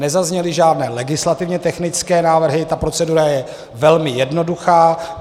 Nezazněly žádné legislativně technické návrhy, ta procedura je velmi jednoduchá.